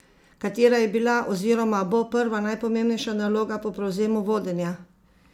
Katera je bila oziroma bo prva najpomembnejša naloga po prevzemu vodenja?